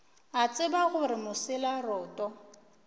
a tseba gore mosela roto